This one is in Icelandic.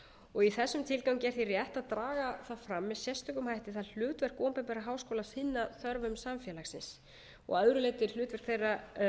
og í þessum tilgangi er því rétt að draga fram með sérstökum hætti það hlutverk opinberra háskóla að sinna þörfum samfélagsins að öðru leyti er hlutverk þeirra